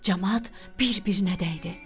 Camaat bir-birinə dəydi.